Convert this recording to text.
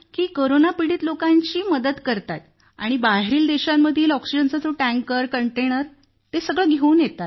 corona पिडीत लोकांची मदत करत आहेत आणि बाहेरील देशांमधून ऑक्सिजन टँकर आणि कंटेनर घेऊन येत आहेत